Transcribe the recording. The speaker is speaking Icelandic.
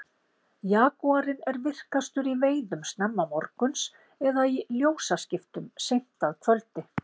jagúarinn er virkastur í veiðum snemma morguns eða í ljósaskiptum seint að kvöldi